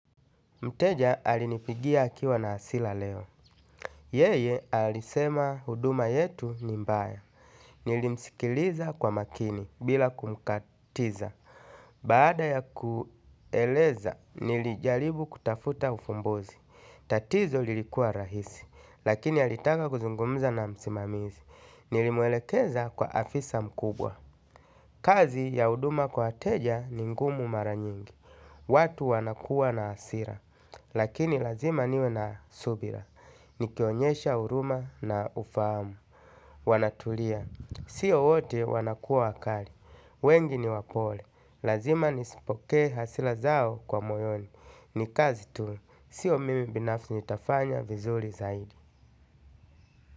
Mteja alinipigia akiwa na asila leo. Yeye alisema huduma yetu ni mbaya. Nilimsikiliza kwa makini bila kumkatiza. Baada ya kueleza, nilijalibu kutafuta ufumbozi. Tatizo lilikuwa rahisi, lakini alitaka kuzungumza na msimamizi. Nilimwelekeza kwa afisa mkubwa. Kazi ya huduma kwa wateja ni ngumu maranyingi. Watu wanakuwa na hasira lakini lazima niwe na subira. Nikionyesha uruma na ufahamu wanatulia, siyo wote wanakua wakali. Wengi ni wapole, lazima nisipoke hasila zao kwa moyoni. Nikazi tu siyo mimi binafsi nitafanya vizuli zaidi.